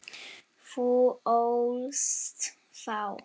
Þú ólst þá.